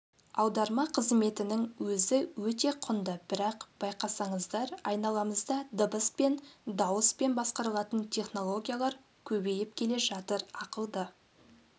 аударма қызметінің өзі өте құнды бірақ байқасаңыздар айналамызда дыбыспен дауыспен басқарылатын технологиялар көбейіп келе жатыр ақылды